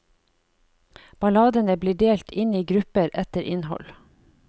Balladene blir delt inn i grupper etter innhold.